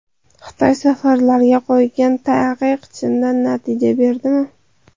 Xitoy safarlarga qo‘ygan taqiq chindan natija berdimi?